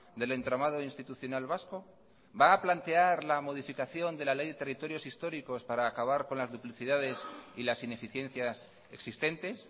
del entramado institucional vasco va a plantear la modificación de la ley de territorios históricos para acabar con las duplicidades y las ineficiencias existentes